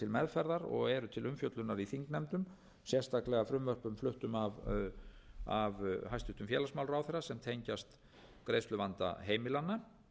meðferðar og eru til umfjöllunar í þingnefndum sérstaklega frumvörpum fluttum af hæstvirtum félagsmálaráðherra sem tengjast greiðsluvanda heimilanna